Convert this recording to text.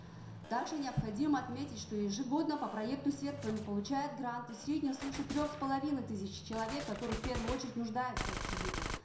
также необходимо отметить что ежегодно по проекту серпін получают гранты в среднем свыше трех с половиной тысяч человек которые в первую очередь нуждаются в общежитиях